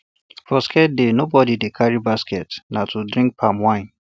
for sacred day nobody dey carry basketna to drink palm wine